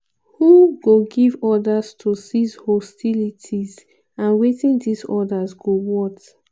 "who go give orders to cease hostilities and wetin dis orders go worth?"